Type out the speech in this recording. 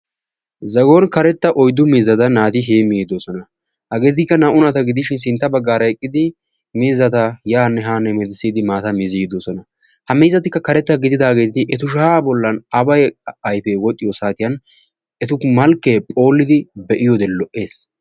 Zagon karetta oyddu miizzata naati heemmiiddi de'oosona. Hegeetikka naa"u naata gidishin sintta baggaara eqqidi miizzata yaanne haa hemetissidi maataa mizziiddi de'oosona, ha miizzatikka karettaa gididaageti etu shaya bollan aawa ayfee wodhdhiyosaatiyan etu malkkee phooliiddi be'iyode lo"ees.